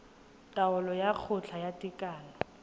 taolo ya kgotla ya tekano